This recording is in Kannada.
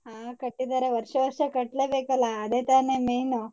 ಹ ಕಟ್ಟಿದಾರೆ ವರ್ಷ ವರ್ಷ ಕಟ್ಲೇಬೇಕಲ್ಲ ಅದೇ ತಾನೇ main .